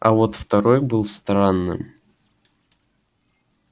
а вот второй был странным